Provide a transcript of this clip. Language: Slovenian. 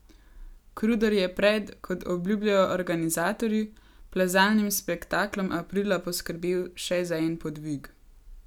Kruder je pred, kot obljubljajo organizatorji, plezalnim spektaklom aprila poskrbel še za en podvig.